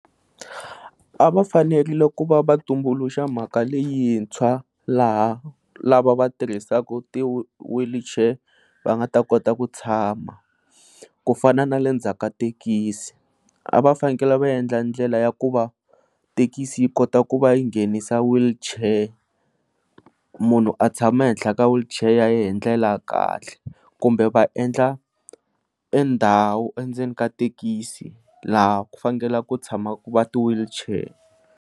A va fanele ku va va tumbuluxa mhaka leyintshwa laha lava va tirhisaka ti wheelchair va nga ta kota ku tshama, ku fana na le ndzhaku ka thekisi a va fanele va endla ndlela ya ku va thekisi yi kota ku va yi nghenisa wheelchair munhu a tshama ehenhla ka wheelchair ya yena hi ndlela ya kahle. Kumbe va endla ndhawu endzeni ka thekisi laha ku fanele ku tshama ku va ti wheelchair.